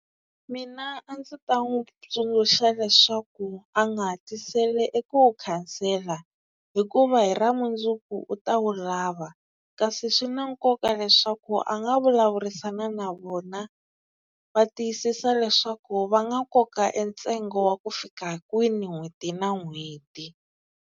Mina a ndzi ta n'wi tsundzuxa leswaku a nga hatlisela eku wu khansela hikuva hi ra mundzuku u ta wu lava kasi swi na nkoka leswaku a nga vulavurisana na vona va tiyisisa leswaku va nga koka e ntsengo wa ku fika kwini n'hweti na n'hweti.